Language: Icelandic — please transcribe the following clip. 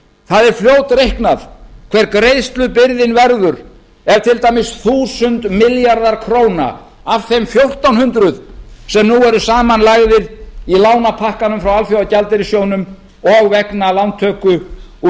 það er fljótreiknað hver greiðslubyrðin verður ef til dæmis þúsund milljarðar króna af þeim fjórtán hundruð sem nú eru samanlagðir í lánapakkanum frá alþjóðagjaldeyrissjóðnum og vegna lántöku út